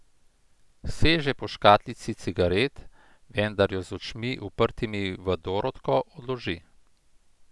Seže po škatlici cigaret, vendar jo z očmi, uprtimi v Dorotko, odloži.